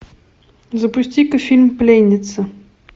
запусти ка фильм пленница